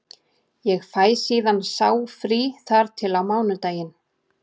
Ég fæ síðan sá frí þar til á mánudaginn.